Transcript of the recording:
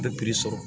Bɛ sɔrɔ